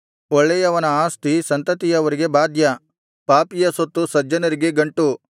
ಒಳ್ಳೆಯವನ ಆಸ್ತಿ ಸಂತತಿಯವರಿಗೆ ಬಾಧ್ಯ ಪಾಪಿಯ ಸೊತ್ತು ಸಜ್ಜನರಿಗೆ ಗಂಟು